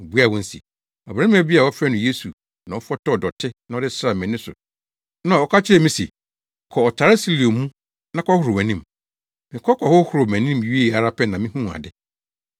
Obuaa wɔn se, “Ɔbarima bi a wɔfrɛ no Yesu no fɔtɔw dɔte na ɔde sraa mʼani so na ɔka kyerɛɛ me se, ‘Kɔ ɔtare Siloa mu na kɔhohoro wʼanim’. Mekɔ kɔhohoroo mʼanim wiee ara pɛ na mihuu ade.”